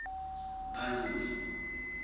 baloi